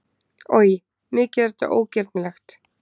Oj, mikið er þetta ógirnilegt!